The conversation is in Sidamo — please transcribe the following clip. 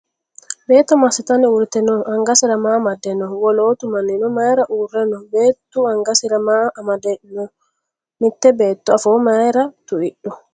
Beetto massitanni uurrite noo? Angasera maa amadde noo? Wolootu mannino mayiira uurre no? Beettu angasira maa amammadayi no? Mitte beetto afoo mayiira tu'idhu?